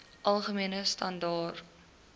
algemene standaar